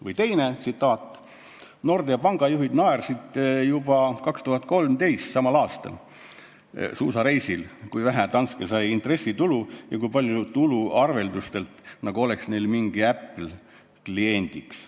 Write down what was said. Või teine asi: Nordea panga juhid naersid juba 2013, samal aastal, suusareisil seda, kui vähe Danske sai intressitulu ja kui palju tulu arveldustelt, nagu oleks neil mingi Apple kliendiks.